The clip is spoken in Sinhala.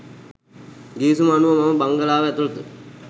ගිවිසුම අනුව මම බංගලාව ඇතුළත